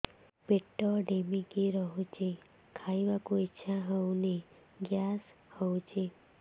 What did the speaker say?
ପେଟ ଢିମିକି ରହୁଛି ଖାଇବାକୁ ଇଛା ହଉନି ଗ୍ୟାସ ହଉଚି